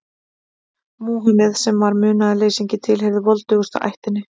Múhameð, sem var munaðarleysingi, tilheyrði voldugustu ættinni.